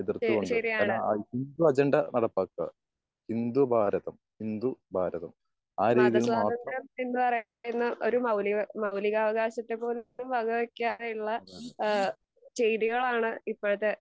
എഹ് ശരിയാണ് മത സ്വാതന്ത്രം എന്ന് പറയുന്ന ഒരു മൗലിക മൗലികവകാശത്തെ വക വെക്കാതെയുള്ള ഏഹ് കെയ്‌തികാണ് ഇപ്പഴത്തെ